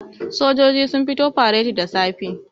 sojoji sun fito fareti da safe